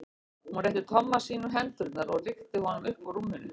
Hún rétti Tomma sínum hendurnar og rykkti honum upp úr rúminu.